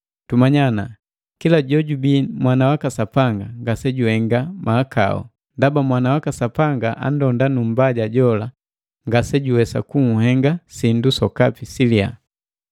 Tumanya ana kila jojubii mwana waka Sapanga ngasejuhenga mahakau, ndaba Mwana waka Sapanga anndonda, nu mmbaja jola ngasejuwesa kunhenga sindu sokapi siliya.